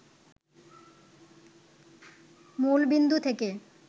মূলবিন্দু থেকে